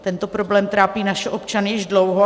Tento problém trápí naše občany už dlouho.